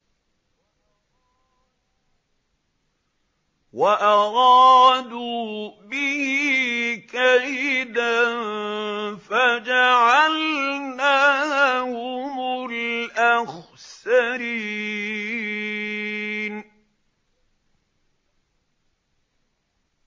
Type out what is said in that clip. وَأَرَادُوا بِهِ كَيْدًا فَجَعَلْنَاهُمُ الْأَخْسَرِينَ